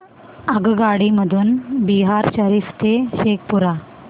आगगाडी मधून बिहार शरीफ ते शेखपुरा